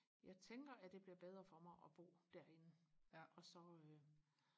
jeg tænker at det bliver bedre for mig og bo derinde og så øh